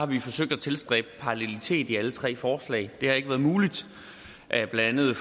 vi har forsøgt at tilstræbe parallelitet i alle tre forslag det har ikke været muligt blandt andet